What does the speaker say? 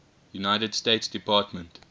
united states department